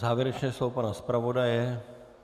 Závěrečné slovo pana zpravodaje.